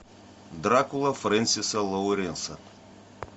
дракула френсиса лоуренса